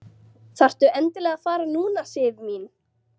Þarftu endilega að fara núna, Sif mín?